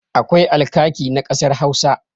Akwai alkaki na ƙasar Hausa.